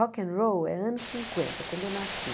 Rock and Roll é anos cinquenta, quando eu nasci.